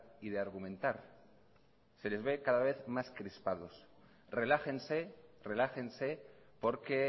y de argumentar se les ve cada vez más crispados relájense relájense porque